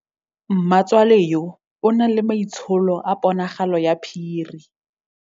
Mmatswale yo, o na le maitsholô a ponagalo ya phiri.